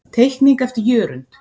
Teikning eftir Jörund.